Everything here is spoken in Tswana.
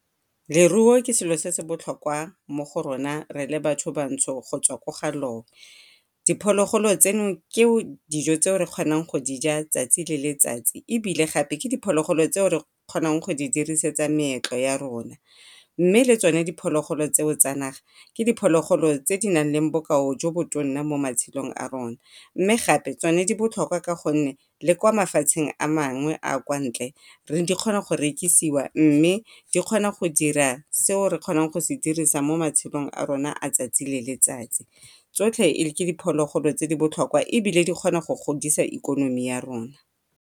Leruo ke selo se se botlhokwa mo go rona batho bantsho go tswa ko ga loe. Diphologolo tseno ke dijo tse re kgonang go dija 'tsatsi le letsatsi ebile gape ke diphologolo tseo re kgonang go di dirisetsa meetlo ya rona. Mme le tsone diphologolo tseo tsa naga ke diphologolo tse di na leng bokao jo bo tonna mo matshelong a rona, mme gape tsone di botlhokwa ka gonne le ko mafatsheng a mangwe a kontle di kgona go rekisiwa di kgona go dira seo re kgonang go se dirisa mo matshelong a rona a 'tsatsi le letsatsi. Tsotlhe ke diphologolo tse di botlhokwa ebile di kgona go godisa ikonomi ya rona.